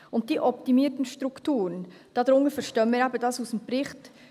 Und unter diesen «optimierten Strukturen», verstehen wir eben Folgendes aus dem Bericht: